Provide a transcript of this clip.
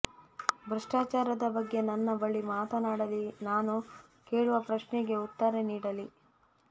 ಭ್ರಷ್ಟಾಚಾರದ ಬಗ್ಗೆ ನನ್ನ ಬಳಿ ಮಾತನಾಡಲಿ ನಾನು ಕೇಳುವ ಪ್ರಶ್ನಗೆ ಉತ್ತರ ನೀಡಲಿ